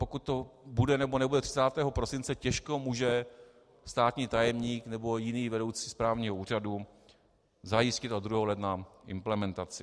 Pokud to bude nebo nebude 30. prosince, těžko může státní tajemník nebo jiný vedoucí správního úřadu zajistit od 2. ledna implementaci.